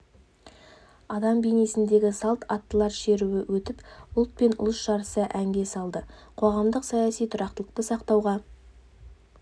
адам бейнесіндегі салт аттылар шеруі өтіп ұлт пен ұлыс жарыса әнге салды қоғамдық-саяси тұрақтылықты сақтауға